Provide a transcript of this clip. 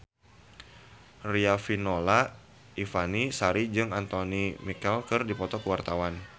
Riafinola Ifani Sari jeung Anthony Mackie keur dipoto ku wartawan